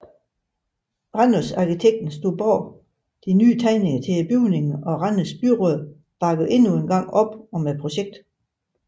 Randers Arkitekten stod bag de nye tegninger til bygningen og Randers byråd bakkede endnu engang op om projektet